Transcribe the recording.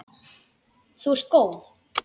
Þú ert góð!